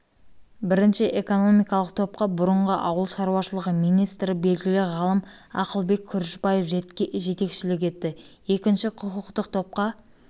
бірінші экономикалық топқа бұрынғы ауыл шаруашылығы министрі белгілі ғалым ақылбек күрішбаев жетекшілік етті екінші құқықтық топқа